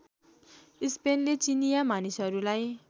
स्पेनले चिनिया मानिसहरूलाई